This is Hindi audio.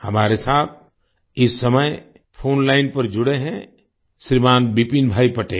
हमारे साथ इस समय फोन लाइन पर जुड़े हैं श्रीमान् विपिन भाई पटेल